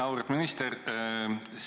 Auväärt minister!